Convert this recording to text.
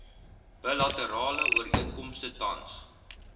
bilaterale ooreenkomste tans